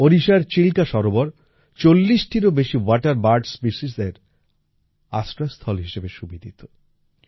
ওড়িশার চিলকা সরোবর ৪০ টিরও বেশি ওয়াটার বার্ড স্পিসিসের আশ্রয়স্থল হিসেবে সুবিদিত